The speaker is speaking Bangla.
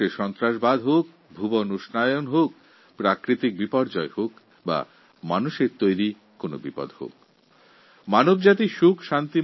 সন্ত্রাসবাদ হোক বিশ্ব উষ্ণায়ণ হোক প্রাকৃতিক বিপর্যয় হোক মানবসৃষ্ট অন্যান্য সংকট হোক সব কিছু থেকে পৃথীবি যেন মুক্ত থাকে